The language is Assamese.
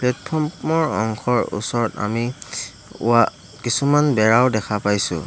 প্লেটফৰ্ম ৰ অংশৰ ওচৰত আমি ৱা কিছুমান বেৰাও দেখা পাইছোঁ।